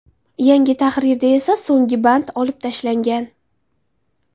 Yangi tahrirda esa so‘nggi band olib tashlangan.